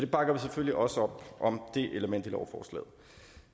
bakker vi selvfølgelig også op om